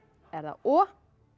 er það o